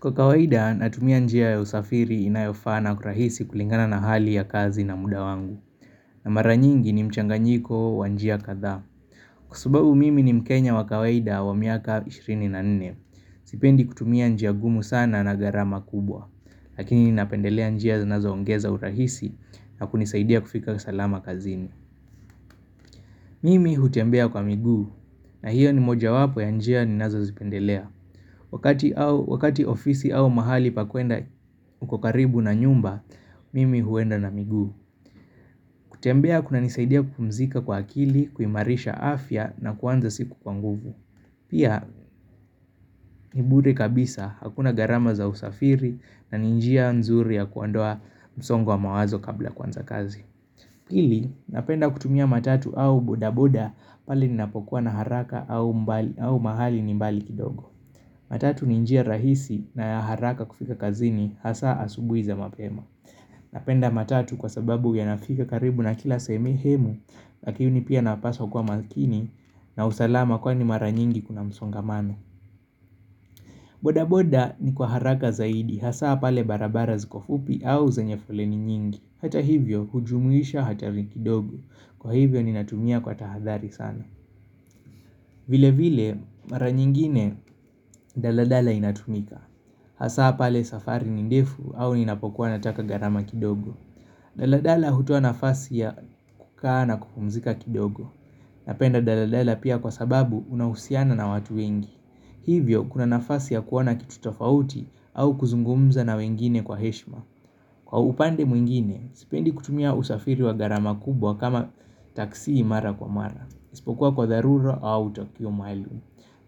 Kwa kawaida natumia njia ya usafiri inayofaa na kurahisi kulingana na hali ya kazi na muda wangu, na mara nyingi ni mchanganyiko wa njia kadhaa Kwa sababu mimi ni mkenya wa kawaida wa miaka 24 sipendi kutumia njia gumu sana na gharama kubwa Lakini napendelea njia zinazoongeza urahisi na kunisaidia kufika salama kazini Mimi hutembea kwa miguu na hiyo ni mojawapo ya njia ninazozipendelea Wakati ofisi au mahali pa kwenda uko karibu na nyumba, mimi huenda na miguu. Kutembea kunanisaidia kupumzika kwa akili, kuimarisha afya na kuanza siku kwa nguvu. Pia, ni bure kabisa, hakuna gharama za usafiri na ni njia nzuri ya kuondoa msongo wa mawazo kabla kuanza kazi. Pili, napenda kutumia matatu au bodaboda pale ninapokuwa na haraka au mahali ni mbali kidogo. Matatu ninjia rahisi na ya haraka kufika kazini hasa asubui za mapema. Napenda matatu kwa sababu yanafika karibu na kila sehemu Lakini pia napaswa kuwa makini na usalama kwani mara nyingi kuna msongamano boda boda ni kwa haraka zaidi hasa pale barabara ziko fupi au zenye foleni nyingi, hata hivyo hujumuisha hatari kidogo kwa hivyo ninatumia kwa tahadhari sana vile vile mara nyingine daladala inatumika, hasa pale safari ni ndefu au ninapokua nataka gharama kidogo daladala hutoa nafasi ya kukaa na kupumzika kidogo Napenda daladala pia kwa sababu unahusiana na watu wengi Hivyo kuna nafasi ya kuona kitu tofauti au kuzungumza na wengine kwa heshima Kwa upande mwingine, sipendi kutumia usafiri wa gharama kubwa kama taksi mara kwa mara, isipokuwa kwa dharura au tukio maalum.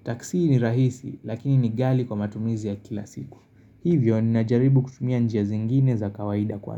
Taksi ni rahisi lakini ni ghali kwa matumizi ya kila siku, hivyo ninajaribu kutumia njia zingine za kawaida kwa.